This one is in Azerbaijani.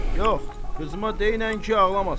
Yox, qızıma deyinən ki, ağlamasın.